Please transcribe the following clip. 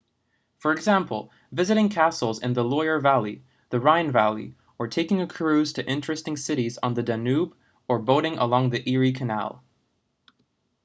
for example visiting castles in the loire valley the rhine valley or taking a cruise to interesting cites on the danube or boating along the erie canal